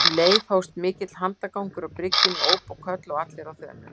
Um leið hófst mikill handagangur á bryggjunni, óp og köll og allir á þönum.